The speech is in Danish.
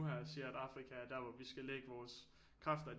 Her siger at Afrika er der hvor vi skal lægge vores kræfter